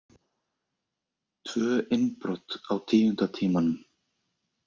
Tvö innbrot á tíunda tímanum